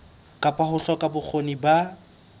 kapa ho hloka bokgoni ba